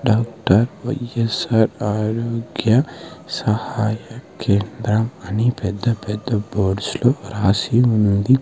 Doctor Y S R ఆరోగ్య సహాయ కేంద్రం అని పెద్ద పెద్ద బోర్డ్స్ లో రాసి ఉంది.